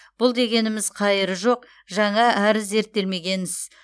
бұл дегеніміз қайыры жоқ жаңа әрі зерттелмеген іс